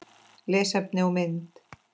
Lesefni og mynd